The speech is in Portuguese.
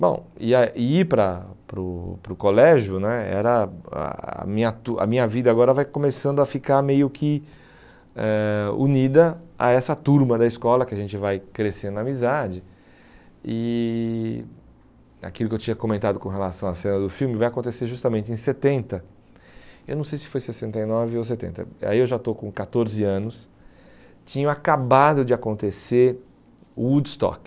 bom, e a e ir para para o para o colégio né era a minha tur a minha vida agora vai começando a ficar meio que eh unida a essa turma da escola que a gente vai crescendo na amizade e aquilo que eu tinha comentado com relação a cena do filme vai acontecer justamente em setenta eu não sei se foi sessenta e nove ou setenta aí eu já estou com catorze anos tinha acabado de acontecer o Woodstock